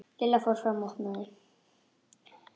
Lilla fór fram og opnaði.